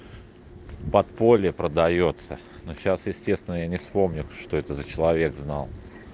подполье продаётся но сейчас естественно я не помню что это за человек знал